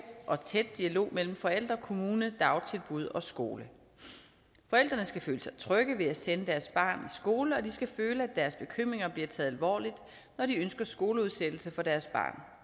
og tæt dialog mellem forældre kommune dagtilbud og skole forældrene skal føle sig trygge ved at sende deres barn i skole og de skal føle at deres bekymringer bliver taget alvorligt når de ønsker skoleudsættelse for deres barn